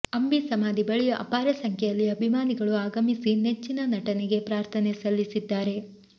ಅಂಬಿ ಸಮಾಧಿ ಬಳಿ ಅಪಾರ ಸಂಖ್ಯೆಯಲ್ಲಿ ಅಭಿಮಾನಿಗಳು ಆಗಮಿಸಿ ನೆಚ್ಚಿನ ನಟನಿಗೆ ಪ್ರಾರ್ಥನೆ ಸಲ್ಲಿಸಿದ್ದಾರೆ